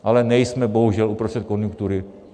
Ale nejsme bohužel uprostřed konjunktury.